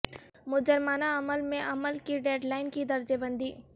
مجرمانہ عمل میں عمل کی ڈیڈ لائن کی درجہ بندی